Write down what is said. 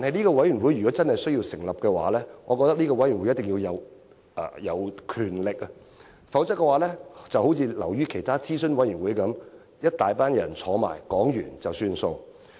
然而，若真要成立這個委員會，我認為它必須擁有權力。否則，就會流於其他諮詢委員會般，一大群人討論過後便了事。